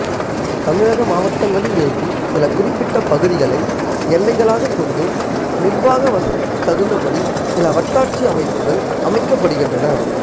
தமிழக மாவட்டங்களில் இருக்கும் சில குறிப்பிட்ட பகுதிகளை எல்லைகளாகக் கொண்டு நிர்வாக வசதிக்குத் தகுந்தபடி சில வட்டாட்சி அமைப்புகள் அமைக்கப்படுகின்றன